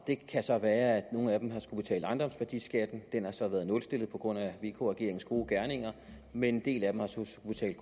det kan så være at nogle af dem har skullet betale ejendomsværdiskatten den har så været nulstillet på grund af vk regeringens gode gerninger men en del af dem har så